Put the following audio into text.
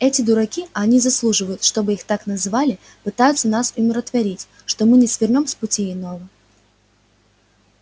эти дураки а они заслуживают чтобы их так называли пытаются нас умиротворить что мы не свернём с пути иного